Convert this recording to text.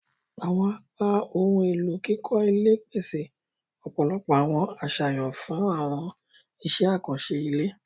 Awọn apá ohùn elo kíkọ ilé pese ọpọlọpọ awọn aṣayan fun awọn iṣẹ akanṣe ilé.